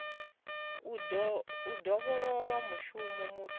u dovholola mushumo muthihi une